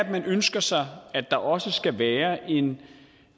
ønsker sig at der også skal være en